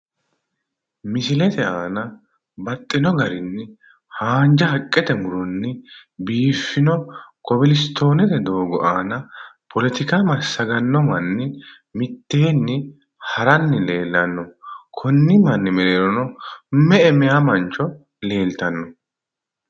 Misilete aana baxxino garinni haanja haqqete muronni biiffino kobilistoonete doogo aana poletika massaganno manni mitteenni haranni leellanno konni manni mereero me'e meya beetto leeltanno?